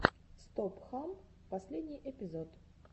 стоп хам последний эпизод